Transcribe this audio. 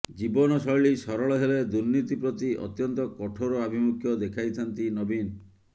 ଜୀବନ ଶୈଳୀ ସରଳ ହେଲେ ଦୁର୍ନୀତି ପ୍ରତି ଅତ୍ୟନ୍ତ କଠୋର ଆଭିମୁଖ୍ୟ ଦେଖାଇଥାନ୍ତି ନବୀନ